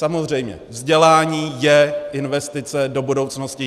Samozřejmě vzdělání je investice do budoucnosti.